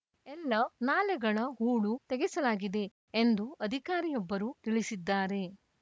ಎಲ್ಲ ನಾಲೆಗಳ ಹೂಳು ತೆಗೆಸಲಾಗಿದೆ ಎಂದು ಅಧಿಕಾರಿಯೊಬ್ಬರು ತಿಳಿಸಿದ್ದಾರೆ